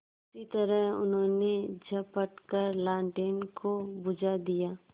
उसी तरह उन्होंने झपट कर लालटेन को बुझा दिया